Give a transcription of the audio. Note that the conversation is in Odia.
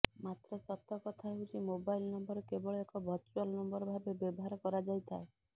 ମାତ୍ର ସତ କଥା ହେଉଛି ମୋବାଇଲ ନମ୍ବର କେବଳ ଏକ ଭଚୁଆଲ ନମ୍ବର ଭାବେ ବ୍ୟବହାର କରାଯାଇଥାଏ